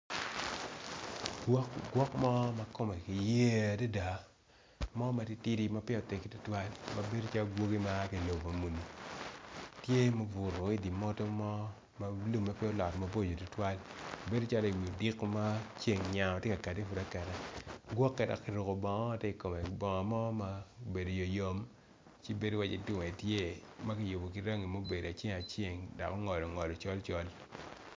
Gwok mo makome yer adada mo matitidi ma pud peya otegi tutwal ma bedo calo gwoki ma aa ki lobo muni tye ma obuto i di moto mo malume pe olot maboco tutuwal bedo calo i widiko ma ceng nyango tye kati akata gwoki eni kiruko bongo ma obedo yoyom ci bedo waci tyer makiyubo ki rangi ma obedo aceng aceng dok ongol ongol col col.